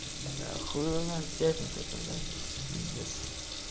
да хуй его знает пятница та блять пиздец